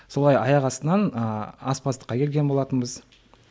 солай аяқ астынан ыыы аспаздыққа келген болатынбыз